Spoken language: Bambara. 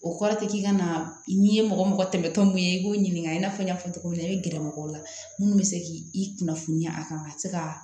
O kɔrɔ tɛ k'i ka na n'i ye mɔgɔ mɔgɔ tɛmɛtɔ min ye i b'o ɲininka i n'a fɔ n y'a fɔ cogo min na i bɛ gɛrɛ mɔgɔw la minnu bɛ se k'i kunnafoniya a kan ka se ka